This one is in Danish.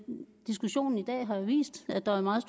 diskussionen i dag har jo vist at der er meget